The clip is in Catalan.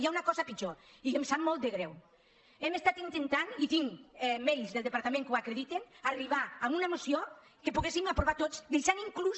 hi ha una cosa pitjor i em sap molt de greu hem estat intentant i tinc mails del departament que ho acredi·ten arribar a una moció que poguéssim aprovar tots deixant inclús